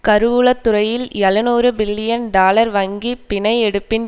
கருவூலத்துறையில் எழுநூறு billion dollar வங்கி பிணை எடுப்பின்